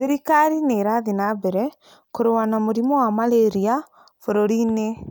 Thirikari nĩ ĩrathiĩ na mbere kũrũa na mũrimũ wa malaria bũrũri-inĩ.